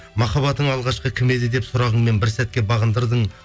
махаббатың алғашқы кім еді деп сұрағыңмен бір сәтке бағындырдың